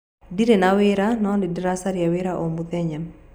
Ndirĩ na wĩra, no nĩ ndĩracaria wĩra o mũthenya.